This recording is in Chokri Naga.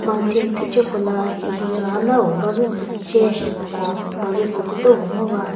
mountaini phice kola hihi ranao bazü sü ce ko bazü sü küdo ngo va.